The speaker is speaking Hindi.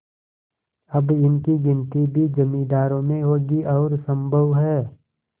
अब इनकी गिनती भी जमींदारों में होगी और सम्भव है